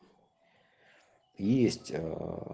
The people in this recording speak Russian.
есть